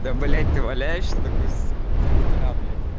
да блять ты валяешься такой сука в три утра блять